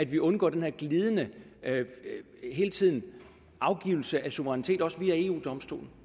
vi undgår den her glidebane med hele tiden at afgive suverænitet også via eu domstolen